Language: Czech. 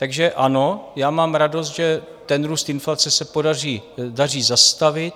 Takže ano, já mám radost, že ten růst inflace se daří zastavit.